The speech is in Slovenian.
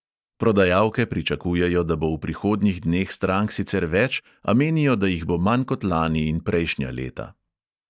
Prodajalke pričakujejo, da bo v prihodnjih dneh strank sicer več, a menijo, da jih bo manj kot lani in prejšnja leta.